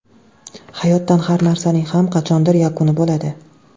Hayotda har narsaning ham qachondir yakuni bo‘ladi.